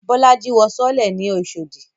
Bolaji wọ sọọ́lẹ̀ ní Oshodi